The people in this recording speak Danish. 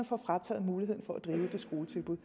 får frataget muligheden for at drive det skoletilbud